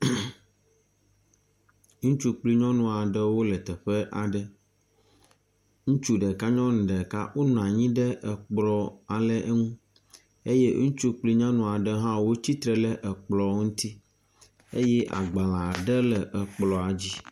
Ŋtsu kple nyɔnu aɖe wo le teƒe aɖe. Ŋutsu ɖeka nyɔnu ɖeka wonɔ anyi ɖe ekplɔ aɖe ŋu eye ŋutsu kple nyɔnu aɖe hã wotsitre ɖe ekplɔ ŋuti eye agbale aɖe le ekplɔa dzi.